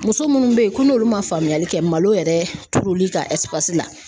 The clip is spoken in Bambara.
Muso minnu bɛ yen ko n'olu ma faamuyali kɛ malo yɛrɛ turuli ka la.